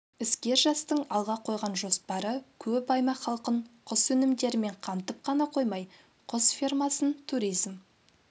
іскер жастың алға қойған жоспары көп аймақ халқын құс өнімдерімен қамтып қана қоймай құс фермасын туризм